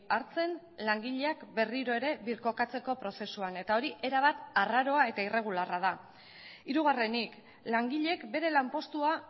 hartzen langileak berriro ere birkokatzeko prozesuan eta hori erabat arraroa eta irregularra da hirugarrenik langileek bere lanpostua